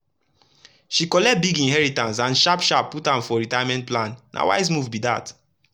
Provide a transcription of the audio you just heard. she collect big inheritance and sharp sharp put am for retirement plan—na wise move be that.